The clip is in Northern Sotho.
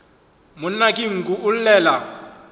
monna ke nku o llela